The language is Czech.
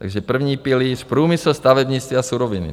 Takže první pilíř průmysl, stavebnictví a suroviny.